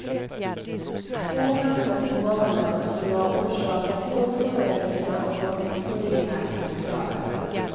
Två hamnade på banan och skulle ha orsakat stor förödelse om de exploderat, förklarade han.